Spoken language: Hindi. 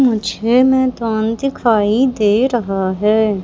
मुझे मैदान दिखाई दे रहा है।